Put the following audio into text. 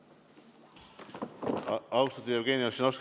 Austatud Jevgeni Ossinovski!